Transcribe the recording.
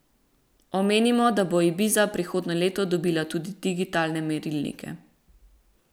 Omenimo, da bo ibiza prihodnje leto dobila tudi digitalne merilnike.